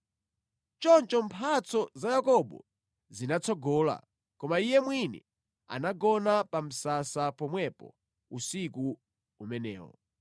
Choncho mphatso za Yakobo zinatsogola, koma iye mwini anagona pa msasa pomwepo usiku umenewo.